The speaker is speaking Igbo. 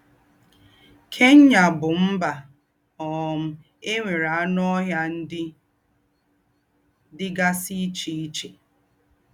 Kenya bú mbà um è nwéré ànù ọ́hịà ndí́ dí́gásí íché íché.